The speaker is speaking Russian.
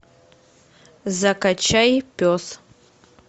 закачай пес